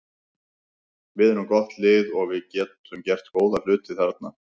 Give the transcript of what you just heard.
Við erum gott lið og við getum gert góða hluti þarna.